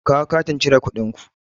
Ku kawo katin cire kuɗin ku!